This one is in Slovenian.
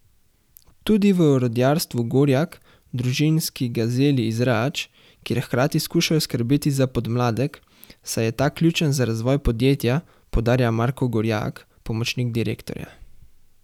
Tudi v Orodjarstvu Gorjak, družinski gazeli iz Rač, kjer hkrati skušajo skrbeti za podmladek, saj je ta ključen za razvoj podjetja, poudarja Marko Gorjak, pomočnik direktorja.